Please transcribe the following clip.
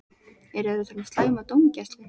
Eru þeir að tala um slæma dómgæslu?